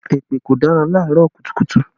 Èpè kò dára laarọ kùtùkùtù